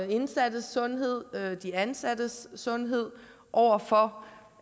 de indsattes sundhed og de ansattes sundhed over for